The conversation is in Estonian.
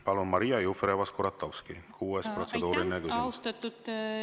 Palun, Maria Jufereva-Skuratovski, kuues protseduuriline küsimus!